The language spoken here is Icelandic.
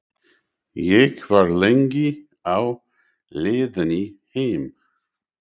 Ég var lengi á leiðinni heim.